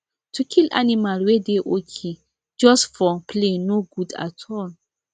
to kill animal wey dey okay just for play no good at all